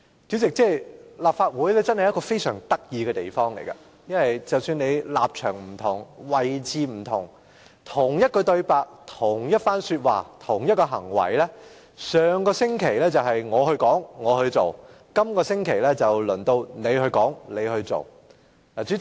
主席，立法會真是一個非常有趣的地方，議員立場不同，同一番說話及同一個行為，上星期可能由泛民議員去說去做，而本星期則輪到建制派議員去說去做。